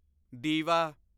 ਦੀਵਾ